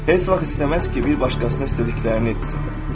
Heç vaxt istəməz ki, bir başqasına istədiklərini etsin.